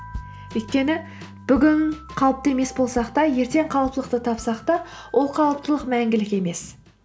өйткені бүгін қалыпты емес болсақ та ертең қалыптылықты тапсақ та ол қалыптылық мәңгілік емес